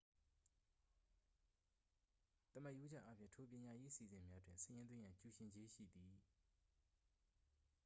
သမာရိုးကျအားဖြင့် ထို ပညာရေး အစီအစဉ်များတွင် စာရင်းသွင်းရန် ကျူရှင်ကြေးရှိသည်